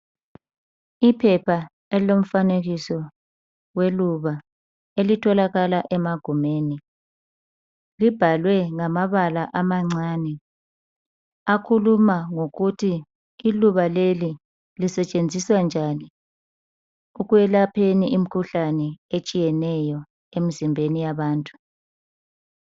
Iphepha elilomfanekiso weluba elitholakala emagumeni libhalwe ngamabala amancane akhuluma ngokuthi iluba leli lisetshenziswa njani ekwelapheni imikhuhlane etshiyeneyo emzimbeni yabantu.